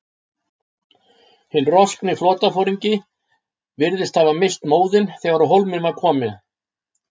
Hinn roskni flotaforingi virðist hafa misst móðinn, þegar á hólminn var komið.